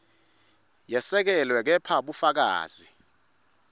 yesekelwe kepha bufakazi